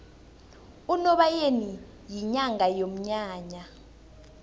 unobayeni yinyanga yomnyanya